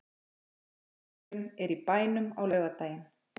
Fyrri leikurinn er í bænum á laugardaginn.